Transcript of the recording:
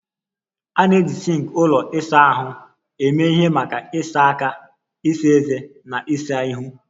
A na-eji sinks ụlọ ịsa ahụ eme ihe maka ịsa aka, ịsa ezé, na ịsa ihu